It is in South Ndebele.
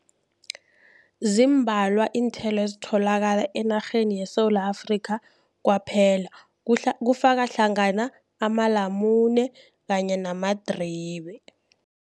Ziimbalwa iinthelo ezitholakala enarheni yeSewula Afrika, kwaphela kufaka hlangana amalamune kanye namadribe.